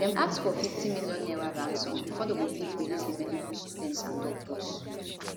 dem ask for 50 million naira ransom bifor dem go fit release di medical students and doctors